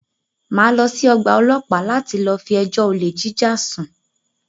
Máa lọ sí ọ̀gbà ọlọ́pàá láti lọ fi ẹjọ́ olè jíjà sùn.